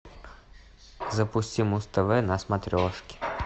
запусти муз тв на смотрешке